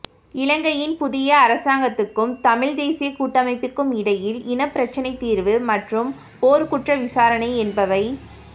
இலங்கையின் புதிய அரசாங்கத்துக்கும் தமிழ் தேசியக் கூட்டமைப்புக்கும் இடையில் இனப்பிரச்சினை தீர்வு மற்றும் போர்க்குற்ற விசாரணை என்பவை